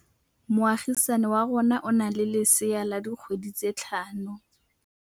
Moagisane wa rona o na le lesea la dikgwedi tse tlhano.